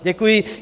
Děkuji.